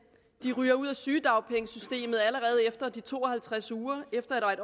de ryger ud af sygedagpengesystemet allerede efter de to og halvtreds uger og efter at